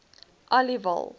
aliwal